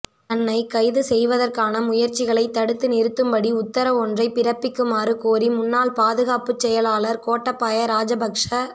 தன்னை கைது செய்வதற்கான முயற்சிகளை தடுத்து நிறுத்தும்படி உத்தரவொன்றை பிறப்பிக்குமாறு கோரி முன்னாள் பாதுகாப்புச் செயலாளர் கோட்டாபய ராஜபக்ச